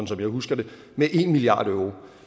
som jeg husker det med en milliard euro